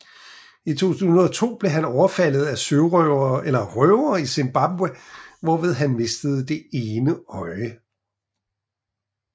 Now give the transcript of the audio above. I 2002 blev han overfaldet af røvere i Zimbabwe hvorved han mistede det ene øje